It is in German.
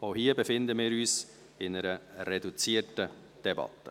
Auch hier befinden wir uns in einer reduzierten Debatte.